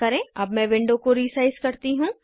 अब मैं विंडो को रीसाइज़ करती हूँ